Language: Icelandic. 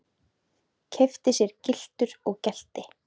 Keypti sér gyltur og gelti.